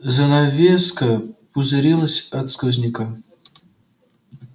занавеска пузырилась от сквозняка